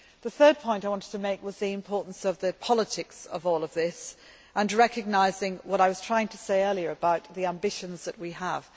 The third point I wanted to make is the importance of the politics of all of this and recognising what I was trying to say earlier about the ambitions that we have.